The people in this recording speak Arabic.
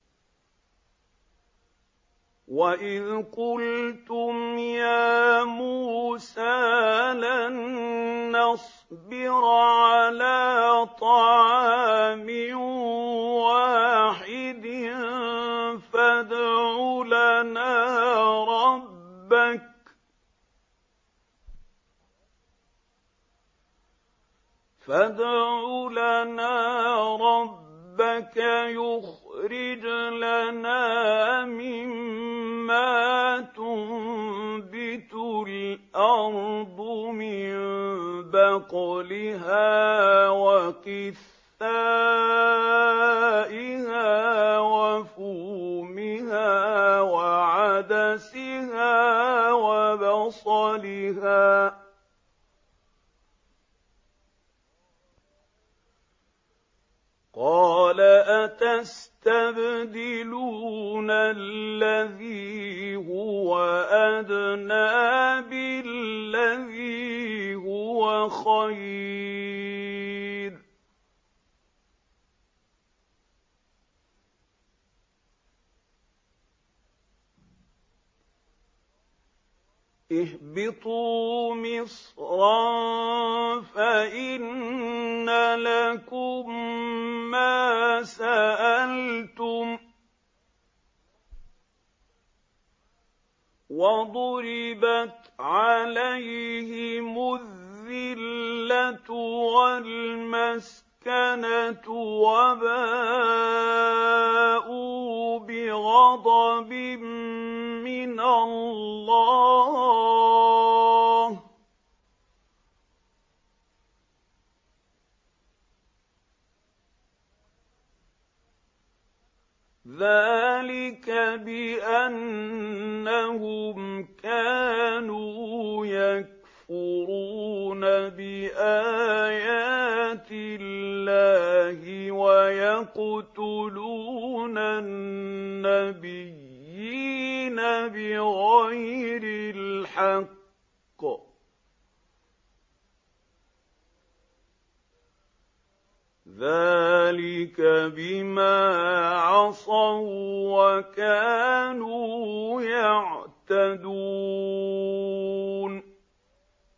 وَإِذْ قُلْتُمْ يَا مُوسَىٰ لَن نَّصْبِرَ عَلَىٰ طَعَامٍ وَاحِدٍ فَادْعُ لَنَا رَبَّكَ يُخْرِجْ لَنَا مِمَّا تُنبِتُ الْأَرْضُ مِن بَقْلِهَا وَقِثَّائِهَا وَفُومِهَا وَعَدَسِهَا وَبَصَلِهَا ۖ قَالَ أَتَسْتَبْدِلُونَ الَّذِي هُوَ أَدْنَىٰ بِالَّذِي هُوَ خَيْرٌ ۚ اهْبِطُوا مِصْرًا فَإِنَّ لَكُم مَّا سَأَلْتُمْ ۗ وَضُرِبَتْ عَلَيْهِمُ الذِّلَّةُ وَالْمَسْكَنَةُ وَبَاءُوا بِغَضَبٍ مِّنَ اللَّهِ ۗ ذَٰلِكَ بِأَنَّهُمْ كَانُوا يَكْفُرُونَ بِآيَاتِ اللَّهِ وَيَقْتُلُونَ النَّبِيِّينَ بِغَيْرِ الْحَقِّ ۗ ذَٰلِكَ بِمَا عَصَوا وَّكَانُوا يَعْتَدُونَ